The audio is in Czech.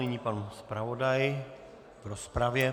Nyní pan zpravodaj v rozpravě.